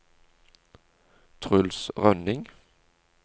Truls Rønning